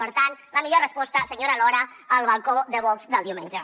per tant la millor resposta senyora lora el balcó de vox del diumenge